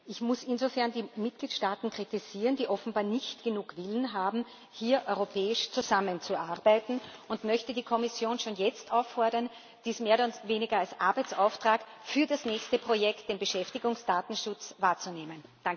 Ich muss insofern die Mitgliedstaaten kritisieren, die offenbar nicht genug Willen haben, hier europäisch zusammenzuarbeiten, und möchte die Kommission schon jetzt auffordern, dies mehr oder weniger als Arbeitsauftrag für das nächste Projekt, den Beschäftigungsdatenschutz, wahrzunehmen.